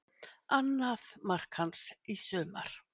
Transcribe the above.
Annað mark hans í sumar